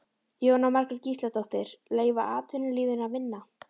Jóhanna Margrét Gísladóttir: Leyfa atvinnulífinu að vinna?